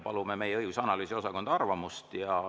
Palume meie õigus‑ ja analüüsiosakonna arvamust.